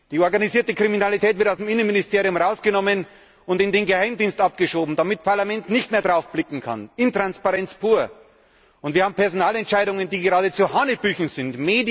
Die organisierte Kriminalität wird aus der Zuständigkeit des Innenministeriums herausgenommen und in den Geheimdienst abgeschoben, damit das Parlament nicht mehr darauf blicken kann. Intransparenz pur! Wir haben Personalentscheidungen, die geradezu hanebüchen sind.